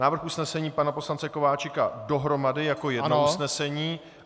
Návrh usnesení pana poslance Kováčika dohromady jako jedno usnesení.